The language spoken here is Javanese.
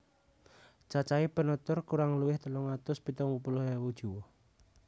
Cacahé penutur kurang luwih telung atus pitung puluh ewu jiwa